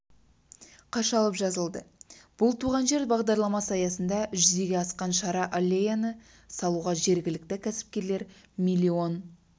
қашалып жазылды бұл туған жер бағдарламасы аясында жүзеге асқан шара аллеяны салуға жергілікті кәсіпкерлер миллион